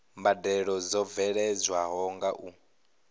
mbadelo dzo bveledzwaho nga u